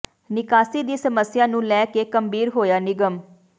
ਨਿਕਾਸੀ ਦੀ ਸਮੱਸਿਆ ਨੂੰ ਲੈ ਕੇ ਗੰਭੀਰ ਹੋਇਆ ਨਿਗਮ